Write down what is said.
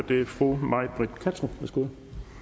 det er fru may britt kattrup værsgo